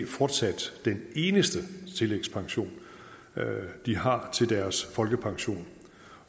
fortsat den eneste tillægspension de har til deres folkepension